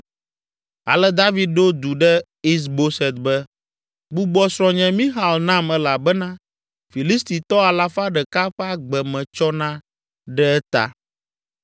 Ale David ɖo du ɖe Is Boset be, “Gbugbɔ srɔ̃nye Mixal nam elabena Filistitɔ alafa ɖeka ƒe agbe metsɔ na ɖe eta.”